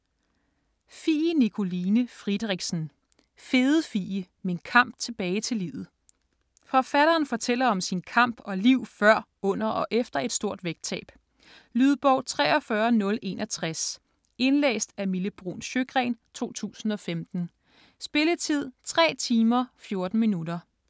Friedrichsen, Fie Nikoline: Fede Fie: min kamp tilbage til livet Forfatteren fortæller om sin kamp og liv før, under og efter et stort vægttab. Lydbog 43061 Indlæst af Mille Bruun Sjøgren, 2015. Spilletid: 3 timer, 14 minutter.